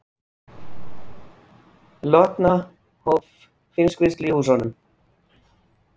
Lotna hóf fiskvinnslu í húsunum